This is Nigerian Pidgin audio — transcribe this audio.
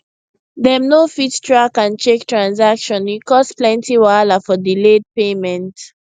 dem no fit track and check transaction e cause plenty wahala for delayed payment